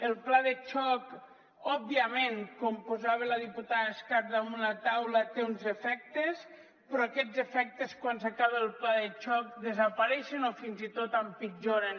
el pla de xoc òbviament com posava la diputada escarp damunt la taula té uns efectes però aquests efectes quan s’acaba el pla de xoc desapareixen o fins i tot empitjoren